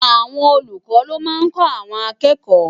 Awòn ólúkò ló má n kò áwòn àkèkò